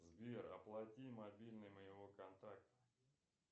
сбер оплати мобильный моего контакта